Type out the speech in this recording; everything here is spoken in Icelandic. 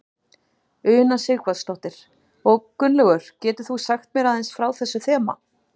Una Sighvatsdóttir: Og Gunnlaugur getur þú sagt mér aðeins frá þessu þema?